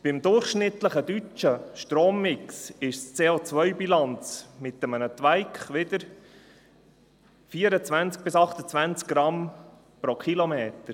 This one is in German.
Beim durchschnittlichen deutschen Strommix beträgt die CO-Bilanz wiederum mit einem «Twike» 24–28 g/km.